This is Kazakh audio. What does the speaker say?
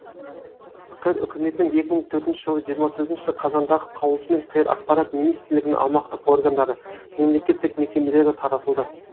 қр үкіметінің екі мың төртінші жылы жиырма төртінші қазандағы қаулысымен қр ақпарат министрлігінің аумақтық органдары мемлекеттік мекемелері таратылды